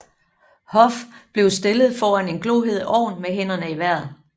Hoff blev stillet foran en glohed ovn med hænderne i vejret